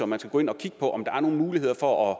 man skal gå ind og kigge på om der er nogle muligheder for